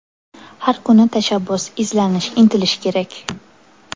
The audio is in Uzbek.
Har kuni tashabbus, izlanish, intilish kerak.